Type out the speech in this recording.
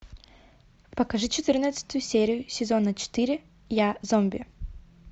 покажи четырнадцатую серию сезона четыре я зомби